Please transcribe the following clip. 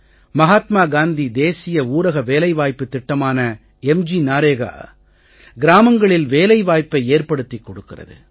மஹாத்மா காந்தி தேசிய ஊரக வேலைவாய்ப்புத் திட்டமான மெக்ன்ரேகா கிராமங்களில் வேலைவாய்ப்பை ஏற்படுத்திக் கொடுக்கிறது